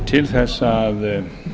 til þess að